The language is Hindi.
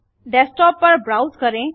डेस्क्टॉप पर ब्राउज करें